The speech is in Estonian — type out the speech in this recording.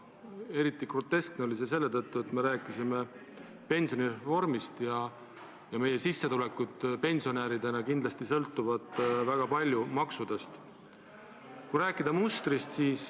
Eriti groteskne oli see selle tõttu, et me rääkisime siis pensionireformist ja meie sissetulekud pensionäridena sõltuvad kindlasti väga palju maksudest.